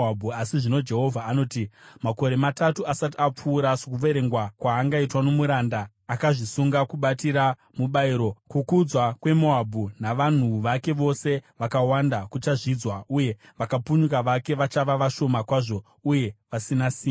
Asi zvino Jehovha anoti, “Makore matatu asati apfuura, sokuverengwa kwaangaitwa nomuranda akazvisunga kubatira mubayiro, kukudzwa kweMoabhu navanhu vake vose vakawanda kuchazvidzwa, uye vakapunyuka vake vachava vashoma kwazvo uye vasina simba.”